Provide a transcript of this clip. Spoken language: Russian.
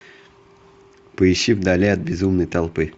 поищи вдали от безумной толпы